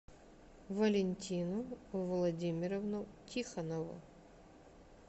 валентину владимировну тихонову